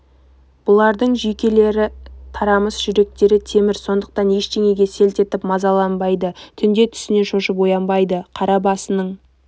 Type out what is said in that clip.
бұлардың жүйкелер тарамыс жүректері темір сондықтан ештеңеге селт етіп мазаланбайды түнде түсінен шошып оянбайды қара басының